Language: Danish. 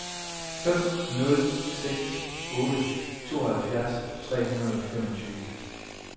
fem nul seks otte tooghalvfjerds tre hundrede og femogtyve